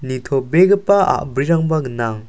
nitobegipa a·brirangba gnang.